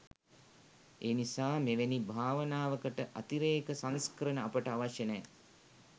ඒනිසා මෙවැනි භාවනාවකට අතිරේක සංස්කරණ අපට අවශ්‍ය නෑ